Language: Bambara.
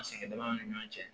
A sɛgɛn dama ni ɲɔgɔn cɛ